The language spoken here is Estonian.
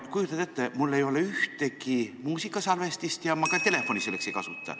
Kujutad ette, mul ei ole ühtegi muusikasalvestist ja telefoni ma ka selleks ei kasuta.